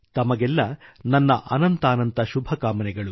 ತಮಗೆಲ್ಲಾ ನನ್ನ ಅನಂತಾನಂತ ಶುಭಕಾಮನೆಗಳು